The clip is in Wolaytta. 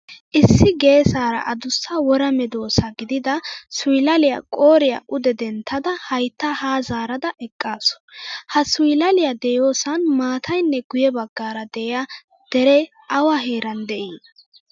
Issi geesaara addussa wora medosa giidida suylaliyaa qoriyaa ude denttada haytta ha zaarada eqqasu. Ha suylaliyaa deiyosan maataaynne guye baggaara de'iya dere awa heeran de'i?